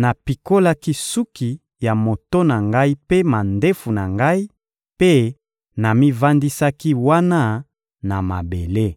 napikolaki suki ya moto na ngai mpe mandefu na ngai mpe namivandisaki wana na mabele.